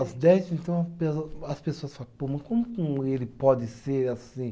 As dez, então, as pessoas fala, pô, mas como com ele pode ser assim?